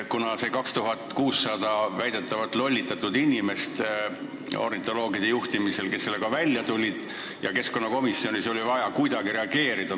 Kuna need 2600 väidetavalt lollitatud inimest ornitoloogide juhtimisel sellega välja tulid, siis keskkonnakomisjonis oli vaja kuidagi reageerida.